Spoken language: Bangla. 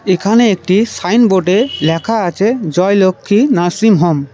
এখানে একটি সাইনবোর্ডে লেখা আছে জয়লক্ষ্মী নার্সিংহোম ।